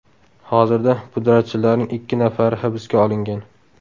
Hozirda pudratchilarning ikki nafari hibsga olingan.